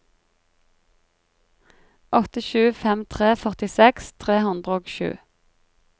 åtte sju fem tre førtiseks tre hundre og sju